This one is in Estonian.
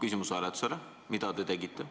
küsimus hääletusele, mida te ka tegite.